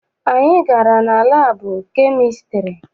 Anyị gara na labu chemistiry.